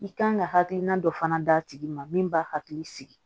I kan ka hakilina dɔ fana d'a tigi ma min b'a hakili sigi